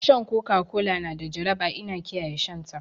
Shan Coca Cola na da jaraba ina kiyaye shan ta